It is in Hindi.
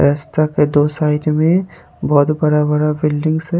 रस्ता के दो साइड में बहोत बड़ा बड़ा बिल्डिंग्स है।